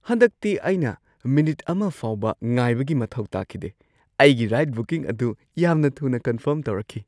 ꯍꯟꯗꯛꯇꯤ ꯑꯩꯅ ꯃꯤꯅꯤꯠ ꯑꯃ ꯐꯥꯎꯕ ꯉꯥꯏꯕꯒꯤ ꯃꯊꯧ ꯇꯥꯈꯤꯗꯦ꯫ ꯑꯩꯒꯤ ꯔꯥꯏꯗ ꯕꯨꯀꯤꯡ ꯑꯗꯨ ꯌꯥꯝꯅ ꯊꯨꯅ ꯀꯟꯐꯔꯝ ꯇꯧꯔꯛꯈꯤ!